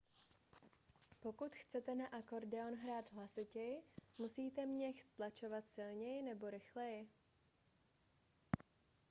pokud chcete na akordeon hrát hlasitěji musíte měch stlačovat silněji nebo rychleji